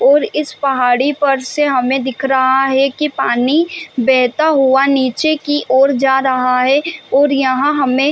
और इस पहाड़ी पर से हमें दिख रहा है की पानी बहता हुआ निचे की ओर जा रहा है और यहाँ हमें --